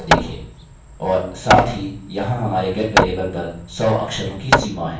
और साथ ही यहाँ हमारे get वेरिएबल पर सौ अक्षरों की सीमा है